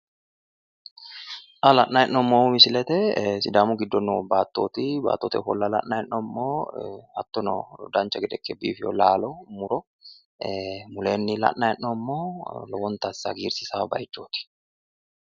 xa la'nanni hee'noommohu misilete sidaamu giddo noo baattooti baattote ofolla la'nanni hee'noommo hattono dancha gede ikke biifino laalo muro mulenni la'nanni hee'noommo lowonta asse hagiirsiisanno bayiichooti.